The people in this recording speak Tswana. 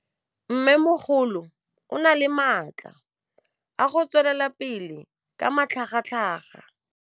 Mmêmogolo o na le matla a go tswelela pele ka matlhagatlhaga.